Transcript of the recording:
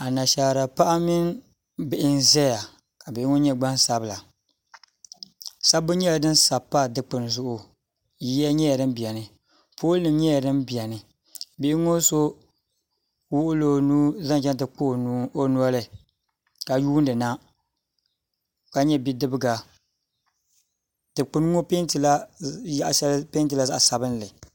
Anashaara paɣa mini bihi n ʒɛya ka bihi ŋɔ nyɛ gbansabila sabbu nyɛla din sabi pa dikpuni zuɣu yiya nyɛla din biɛni pool nim nyɛla din biɛni bihi ŋɔ so kpaɣula o nuu zaŋ chɛŋ ti kpa o noli ka yuundi na dikpuni ŋɔ yaɣa shɛli peentila zaɣ sabinli